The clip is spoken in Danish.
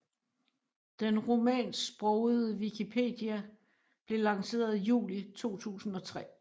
Den rumænsksprogede wikipedia blev lanceret juli 2003